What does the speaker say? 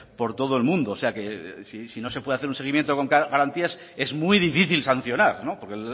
por todo el mundo o sea que si no se puede hacer un seguimiento con garantías es muy difícil sancionar porque